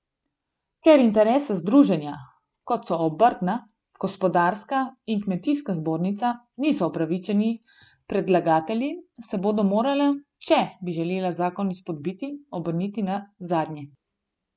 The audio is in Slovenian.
Ker interesna združenja, kot so obrtna, gospodarska in kmetijska zbornica, niso upravičeni predlagatelji, se bodo morala, če bi želela zakon izpodbiti, obrniti na zadnje.